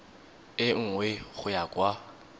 e nngwe go ya kwa